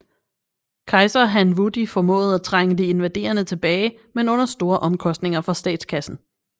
Kejser Han Wudi formåede at trænge de invaderende tilbage men under store omkostninger for statskassen